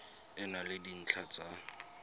e na le dintlha tsa